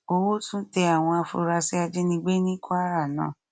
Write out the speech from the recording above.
owó tún tẹ àwọn afurasí ajínigbé ní kwara náà